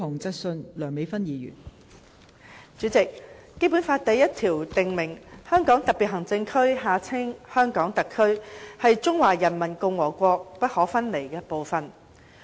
代理主席，《基本法》第一條訂明，香港特別行政區是中華人民共和國不可分離的部分。